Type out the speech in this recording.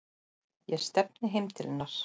Ég stefni heim til hennar.